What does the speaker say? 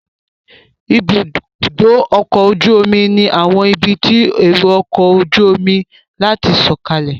Ibùdó ọkọ̀ ojú omi ni àwọn ibi fún èrò ọkọ̀ ojú omi láti sọ̀kalẹ̀